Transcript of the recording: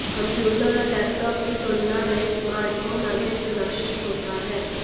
computer और laptop की तुलना में स्मार्टफोन अधिक सुरक्षित होता है